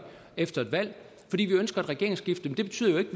efter et valg at vi ønsker et regeringsskifte betyder jo